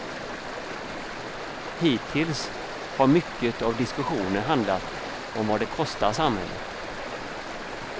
Hittills har mycket av diskussionen handlat om vad det kostar samhället.